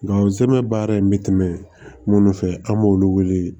Nga zɛmɛ baara in me tɛmɛ munnu fɛ an b'olu wele